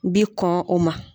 Bi kɔn o ma.